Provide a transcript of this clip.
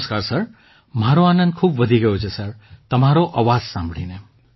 નમસ્કાર સર મારો આનંદ ખૂબ વધી ગયો છે સર તમારો અવાજ સાંભળીને